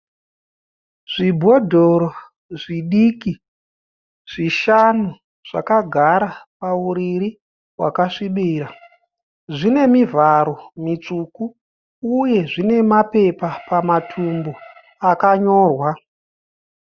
Zvibhodhoro zvidiki zvishanu zvakagara pauriri hwakasvibira. Zvine mivharo mitsvuku uye zvine mapepa pamatumbu akanyorwa.